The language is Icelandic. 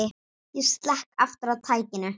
Ég slekk aftur á tækinu.